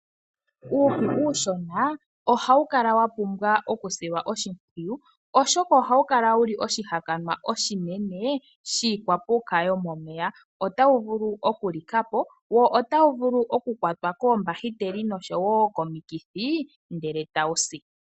Uushi uushona ohawu kala wapumbwa okusilwa oshimpwiyu oshoka ohawukala wuli oshihakanwa oshine shiikwapuka yomomeya ota wuvulu okulika po wo ota wuvulu okukwatwa koombakiteli noshowo komikithi ndele tawu si.